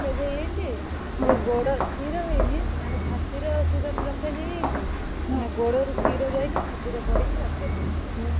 Blockage ହେଇଯାଇଛି ଗୋଡ ଶୀର ହେଇନି ମାନେ ଛାତିର ଶୀର blockage ହେଇଯାଇଛି ମାନେ ଗୋଡରୁ ଶୀର ଯାଇକି ଛାତିରେ ପଡିକି operation ହବ।